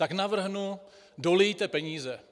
Tak navrhnu: Dolijte peníze.